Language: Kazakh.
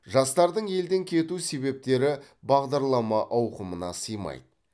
жастардың елден кету себептері бағдарлама ауқымына сыймайды